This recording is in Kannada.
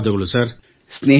ಧನ್ಯವಾದಗಳು ಸರ್